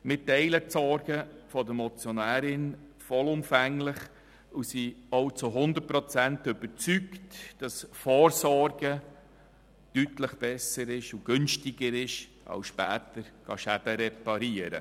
Wir teilen die Sorgen der Motionärin vollumfänglich und sind auch zu hundert Prozent überzeugt, dass Vorsorgen besser und deutlich günstiger ist, als später Schäden zu reparieren.